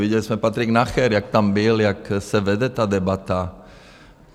Viděli jsme, Patrik Nacher jak tam byl, jak se vede ta debata.